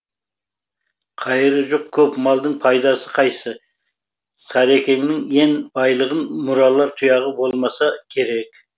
қайыры жоқ көп малдың пайдасы қайсы сарекеңнің ен байлығын мұралар тұяғы болмаса керек